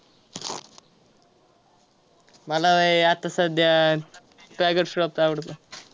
अ पा सध्याच्या पाकिस्तान मधील करायच्या शहरांमध्ये ते शहरातील रवी नदीच्या काठाला हे अधिवेशन भरले होते.